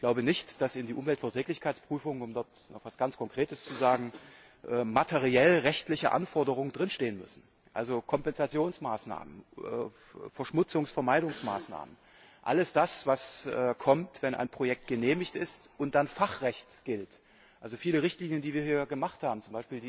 Ich glaube nicht, dass in der Umweltverträglichkeitsprüfung, um dort noch etwas ganz Konkretes zu sagen, materiellrechtliche Anforderungen stehen müssen also Kompensationsmaßnahmen, Verschmutzungsvermeidungsmaßnahmen, alles das, was kommt, wenn ein Projekt genehmigt ist und dann Fachrecht gilt, also viele Richtlinien, die wir hier gemacht haben, z.